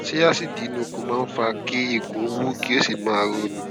ṣé aásíìdì inú ikùn máa ń fa kí ikùn wú kí ó sì máa roni